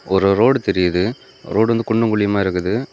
ஒரு ரோடு தெரியுது ரோடு வந்து குண்டு குழியுமா இருக்குது.